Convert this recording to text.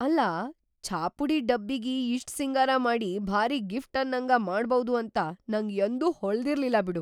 ಅಲ್ಲಾ ಛಾ‌ಪುಡಿ ಡಬ್ಬಿಗಿ ಇಷ್ಟ್‌ ಸಿಂಗಾರ ಮಾಡಿ ಭಾರಿ ಗಿಫ್ಟ್‌ ಅನ್ನಂಗ ಮಾಡ್ಬೌದು ಅಂತ ನಂಗ ಯಂದೂ ಹೊಳದಿರ್ಲಿಲ್ಲ ಬಿಡು.